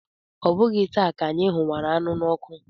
Ọ bụghị taa ka anyị hụwara anụ n'ọkụ.